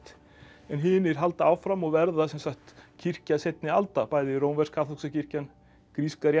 en hinir halda áfram og verða sem sagt kirkja seinni alda bæði rómversk kaþólska kirkjan gríska